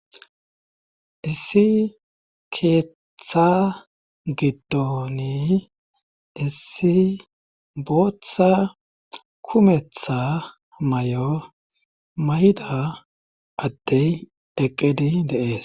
issi keeththaa giddoni issi booththa kumetha mayo mayida addey eqqidi de7ees.